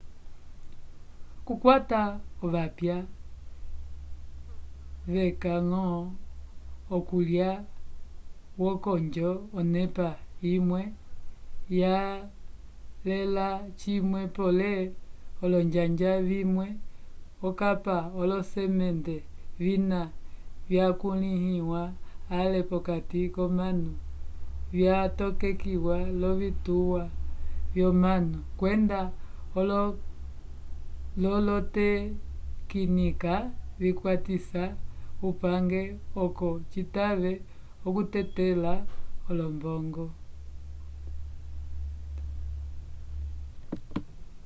okukwata ovapya vyeca-ñgo okulya wokonjo onepa imwe yalela cimwe pole olonjanja vimwe okapa olosemente vina vyakulĩhiwa ale p'okati k'omanu vyatokekiwa l'ovituwa vyomanu kwenda l'olotekinika vikwatisa kupange oco citave okutetelela olombomgo